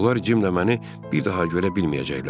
Onlar Cim ilə məni bir daha görə bilməyəcəklər.